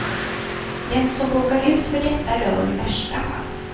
Den som råkar ut för detta dör i värsta fall.